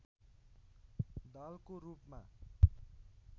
दालको रूपमा